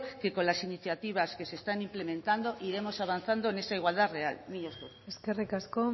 que con las iniciativas que se están implementando iremos avanzando en esta igualdad real mila esker eskerrik asko